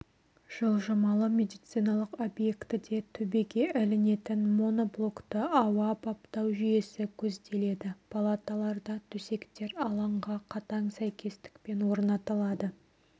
жылжымалы медициналық объектіде төбеге ілінетін моноблокты ауа баптау жүйесі көзделеді палаталарда төсектер алаңға қатаң сәйкестікпен орнатылады